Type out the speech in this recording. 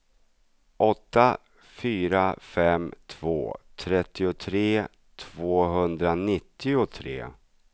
åtta fyra fem två trettiotre tvåhundranittiotre